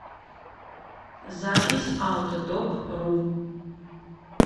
запись аутодокру